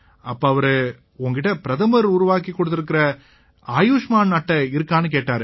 அப்ப அவரு உன் கிட்ட பிரதமர் உருவாக்கிக் கொடுத்திருக்கற ஆயுஷ்மான் அட்டை இருக்கான்னு கேட்டாரு